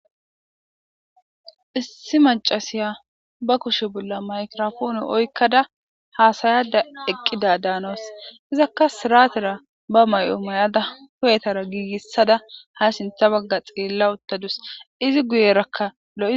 Issi macasiya ba kushe bolla mayrofoone oykkada haasayada eqqida daanos izakka siratera ba may'o mayada kuyetara giigissada ha sintha bagga xeella uttadus izi guyerakka lo.